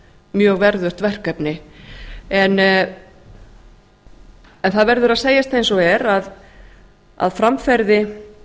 mjög verðugt verkefni það verður að segjast eins og er að framferði